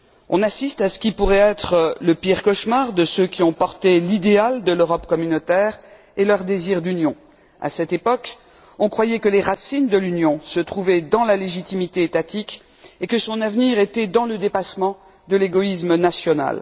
On assiste à ce qui pourrait être le pire cauchemar de ceux qui ont porté l'idéal de l'Europe communautaire et leur désir d'union. À cette époque, on croyait que les racines de l'Union se trouvaient dans la légitimité étatique et que son avenir était dans le dépassement de l'égoïsme national.